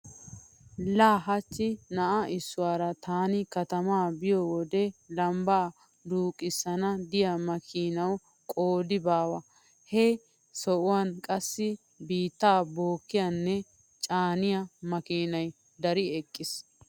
La hachchi na'a issuwara taani katamaa biyo wode lambbaa duuqqiyosan diya makiinawu qoodi baawa. He sohuwan qassi biittaa bookkiyanne caana makiinay dari eqqiis.